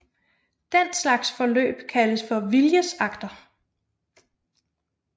Den slags forløb kaldes for viljesakter